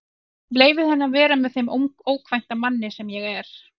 Leyfði henni að vera með þeim ókvænta manni sem ég er.